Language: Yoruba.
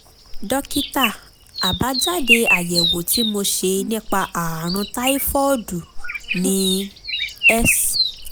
dókítà àbájáde àyẹ̀wò tí mo ṣe nípa ààrùn táífọ́ọ̀dù ni: s